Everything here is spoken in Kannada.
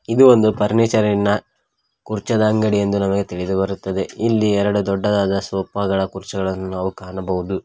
ಇದು ಒಂದು ಫರ್ನಿಚರಿ ನ ಕುರ್ಚಿದ ಅಂಗಡಿ ಎಂದು ನಮಗೆ ತಿಳಿದು ಬರುತ್ತದೆ ಇಲ್ಲಿ ಎರಡು ದೊಡ್ಡದಾದ ಸೋಫಾ ಗಳ ಕುರ್ಚಗಳನ್ನು ನಾವು ಕಾಣಬಹುದು.